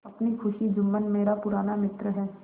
अपनी खुशी जुम्मन मेरा पुराना मित्र है